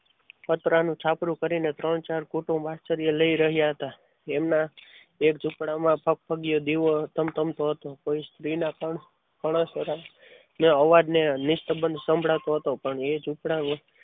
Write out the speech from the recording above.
પતરાનું છાપરું કરીને ત્રણ ચાર કુટુંબ આચાર્ય લઈ રહ્યા હતા એમના એક ઝુંપડામાં ભાગ્ય દેવો ટમટમતો હતો કોઈ સ્ત્રીના કણ કણજ હતા ને અવાજને નિસ્તબત સંભળાતો હતો. પણ એ ઝૂંપડામાં